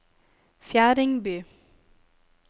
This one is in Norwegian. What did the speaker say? Fjerdingby